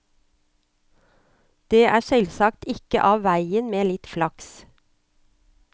Det er selvsagt ikke av veien med litt flaks.